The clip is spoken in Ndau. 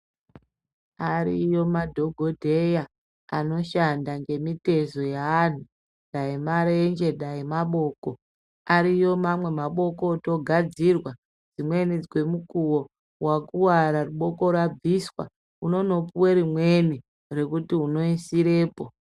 Ariyo madhogodheya anoshanda ngemitezo yeantu, dai marenje dai maboko. Ariyo mamwe maboko otogadzirwa dzimweni kwemukuvo akuvara boko rabvisa unono puve rimweni rekuti unoisirepo.